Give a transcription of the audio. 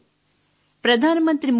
ప్రధాన మంత్రి మోదీ గారు